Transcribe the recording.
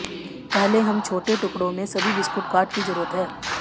पहले हम छोटे टुकड़ों में सभी बिस्कुट काट की जरूरत है